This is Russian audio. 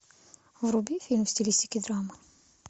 вруби фильм в стилистике драма